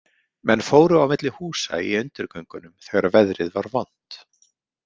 Menn fóru á milli húsa í undirgöngunum þegar veðrið var vont.